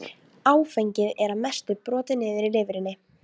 Hvernig gat faðir hans gert honum slíka hneisu?